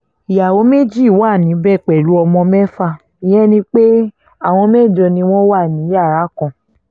ìyàwó méjì wà níbẹ̀ báyìí pẹ̀lú ọmọ mẹ́fà ìyẹn ni pé àwọn mẹ́jọ ni wọ́n wà ní yàrá kan